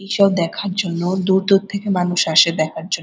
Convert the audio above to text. এইসব দেখার জন্য দূর দূর থেকে মানুষ আসে দেখার জন্য।